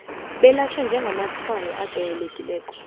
belatjhwe njengamatshwayo ajayelekileko